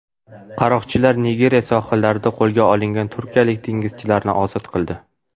Qaroqchilar Nigeriya sohillarida qo‘lga olingan turkiyalik dengizchilarni ozod qildi.